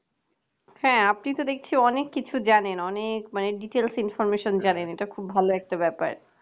হ্যাঁ আপনি তো দেখছি অনেক কিছু জানেন অনেক details information জানেন খুব ভালো একটা ব্যাপার